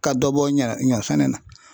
Ka dɔ bɔ ɲɔ ɲɔ sɛnɛ na.